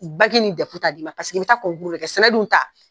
Baki ni Dɛfu t'a d'i ma paseke i bɛ taa de kɛ, sɛnɛ dun ta!